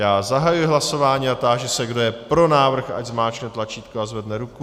Já zahajuji hlasování a táži se, kdo je pro návrh, ať zmáčkne tlačítko a zvedne ruku.